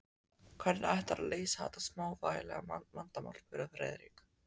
Hvernig ætlarðu að leysa þetta smávægilega vandamál? spurði Friðrik.